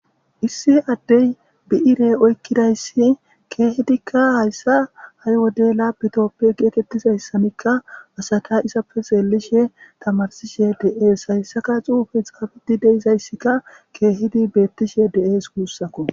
Issi Ade bi'ire oykidaysi kehidika haysa ha'i wode lapi tope getetizaysanka asata izappe xelishe tamarisishe de'es. Haysaka xufe xapishe xafetidi de'izaysika kehidi betishe de'es gusako